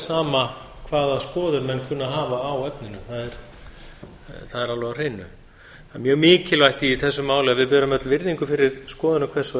sama hvaða skoðun menn kunna að hafa á efninu það er alveg á hreinu það er mjög mikilvægt í þessu máli að við berum öll virðingu fyrir skoðunum hvers og